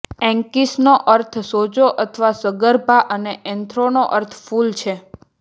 એન્કીસનો અર્થ સોજો અથવા સગર્ભા અને એન્થ્રોનો અર્થ ફૂલ છે